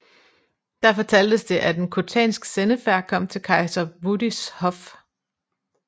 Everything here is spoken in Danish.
Der fortaltes det at en khotansk sendefærd kom til kejser Wudis hof